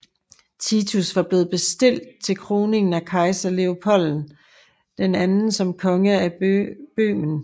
Titus var blevet bestilt til kroningen af kejser Leopold II som konge af Bøhmen